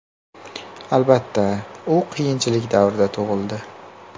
Albatta, u qiyinchilik davrida tug‘ildi.